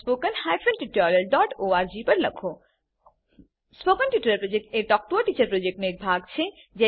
spoken tutorial project talk to a teacher પ્રોજેક્ટનો એક ભાગ છે